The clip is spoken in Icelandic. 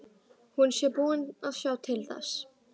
Hún sé búin að sjá til þess.